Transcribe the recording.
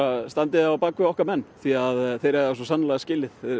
standi á bak við okkar menn því þeir eiga það sannarlega skilið